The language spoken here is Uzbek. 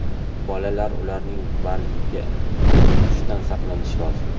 bolalar ularning bargini uzishidan saqlanish lozim.